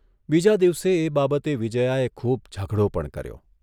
બીજા દિવસે એ બાબતે વિજ્યાએ ખૂબ ઝઘડો પણ કર્યો.